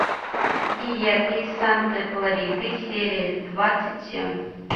диеты из санта клариты серия двадцать семь